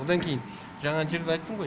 одан кейін жаңағы жерде айттым ғой